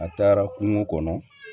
A taara kungo kɔnɔ